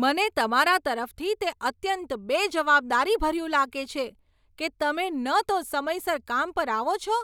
મને તમારા તરફથી તે અત્યંત બેજવાબદારીભર્યું લાગે છે કે તમે ન તો સમયસર કામ પર આવો છો